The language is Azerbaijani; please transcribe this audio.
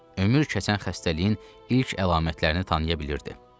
Ömür keçən xəstəliyin ilk əlamətlərini tanıya bilirdi.